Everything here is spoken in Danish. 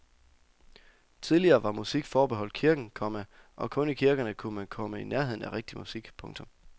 Tidligere var musik forbeholdt kirken, komma og kun i kirkerne kunne man komme i nærheden af rigtig musik. punktum